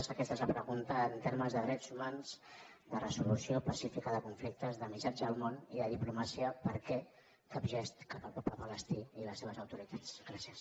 i aquesta és la pregunta en termes de drets humans de resolució pacífica de conflictes de missatge al món i de diplomàcia per què cap gest cap al poble palestí i les seves autoritats gràcies